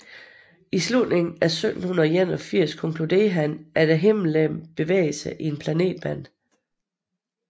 I slutningen af 1781 konkluderede han at himmellegemet bevægede sig i en planetbane